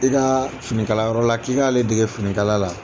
I ka finikala yɔrɔ la k'i k'ale dege finikala la